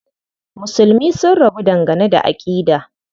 Musulmi sun rabu dangane da aƙida.